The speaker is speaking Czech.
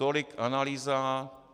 Tolik analýza.